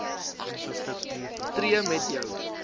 tree met jou